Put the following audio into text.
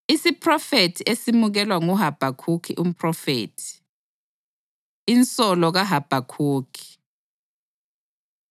Isiphrofethi esemukelwa nguHabhakhukhi umphrofethi. Insolo KaHabhakhukhi